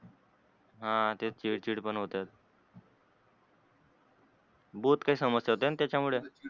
ह ते चीड चीड पण होते बहोत काही समस्या होते त्याच्या मुळे,